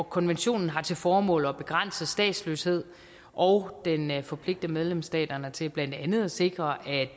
konventionen har til formål at begrænse statsløshed og den forpligter medlemsstaterne til blandt andet at sikre at